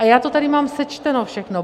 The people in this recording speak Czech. A já to tady mám sečteno všechno.